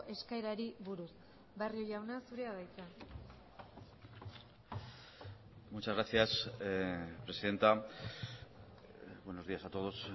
eskaerari buruz barrio jauna zurea da hitza muchas gracias presidenta buenos días a todos